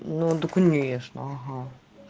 ну да конечно ага